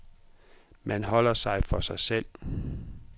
Man holder sig for sig selv.